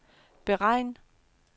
beregn